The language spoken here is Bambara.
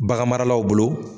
Bagan maralaw bolo.